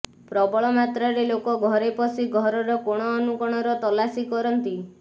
ପ୍ରବଳ ମାତ୍ରାରେ ଲୋକ ଘର ପଶି ଘରର କୋଣ ଅନୁକୋଣର ତଲାସି କରନ୍ତି